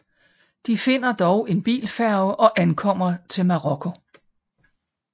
De finder dog en bilfærge og ankommer til Marokko